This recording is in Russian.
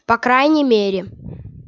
по крайней мере